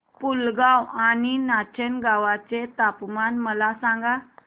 पुलगांव आणि नाचनगांव चे तापमान मला सांग